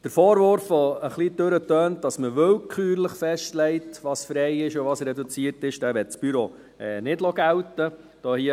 Den Vorwurf, der ein wenig anklingt, wonach man willkürlich festlegt, was frei und was reduziert ist, diesen möchte das Büro nicht gelten lassen.